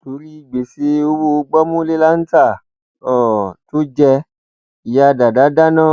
torí gbèsè owó gbọmúlélǹtà um tó jẹ ìyá dàdà dáná